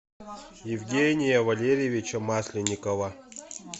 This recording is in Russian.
евгения валерьевича масленникова